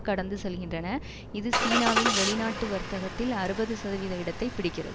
கடந்து செல்கின்றன இது சீனாவின் வெளிநாட்டு வர்த்தகத்தில் அறுபது சதவீத இடத்தை பிடிக்கிறது